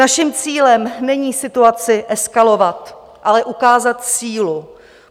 Naším cílem není situaci eskalovat, ale ukázat sílu.